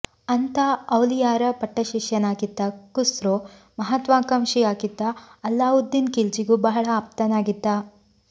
ಅಂಥಾ ಔಲಿಯಾರ ಪಟ್ಟಶಿಷ್ಯನಾಗಿದ್ದ ಖುಸ್ರೋ ಮಹಾತ್ವಾಕಾಂಕ್ಷಿಯಾಗಿದ್ದ ಅಲ್ಲಾವುದ್ದೀನ್ ಖಿಲ್ಜಿಗೂ ಬಹಳ ಆಪ್ತನಾಗಿದ್ದ